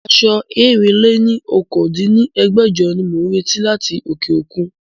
Aṣọ ẹ̀rin-lé-ní-okòó dín ní ẹgbẹ́jọ ni mo ń retí láti òkè òkun